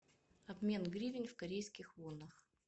обмен гривен в корейских вонах